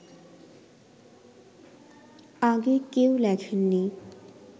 আগে কেউ লেখেননি